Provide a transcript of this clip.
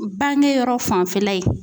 Bangeyɔrɔ fanfɛla ye.